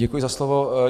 Děkuji za slovo.